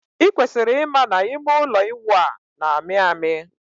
I kwesiri ịma na ime ụlọ ịwụ a na-amị amị.